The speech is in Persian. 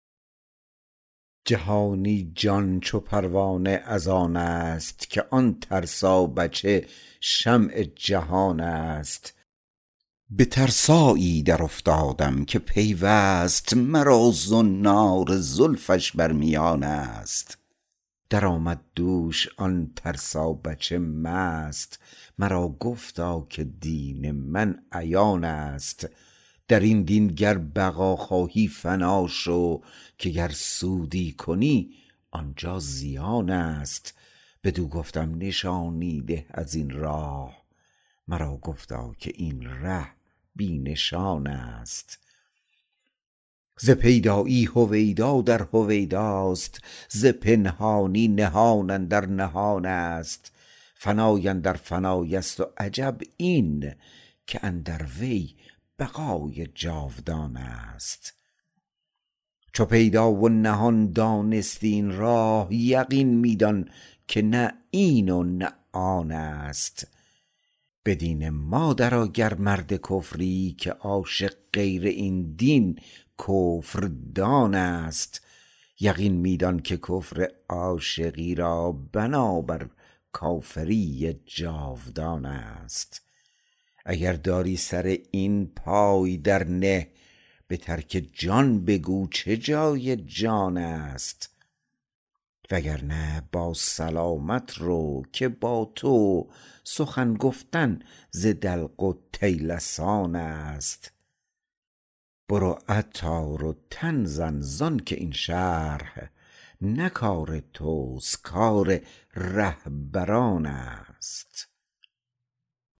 جهانی جان چو پروانه از آن است که آن ترسا بچه شمع جهان است به ترسایی درافتادم که پیوست مرا زنار زلفش بر میان است درآمد دوش آن ترسا بچه مست مرا گفتا که دین من عیان است درین دین گر بقا خواهی فنا شو که گر سودی کنی آنجا زیان است بدو گفتم نشانی ده ازین راه مرا گفتا که این ره بی نشان است ز پیدایی هویدا در هویداست ز پنهانی نهان اندر نهان است فنا اندر فنای است و عجب این که اندر وی بقای جاودان است چو پیدا و نهان دانستی این راه یقین می دان که نه این و نه آن است به دین ما درآ گر مرد کفری که عاشق غیر این دین کفردان است یقین می دان که کفر عاشقی را بنا بر کافری جاودان است اگر داری سر این پای در نه به ترک جان بگو چه جای جان است وگرنه با سلامت رو که با تو سخن گفتن ز دلق و طیلسان است برو عطار و تن زن زانکه این شرح نه کار توست کار رهبران است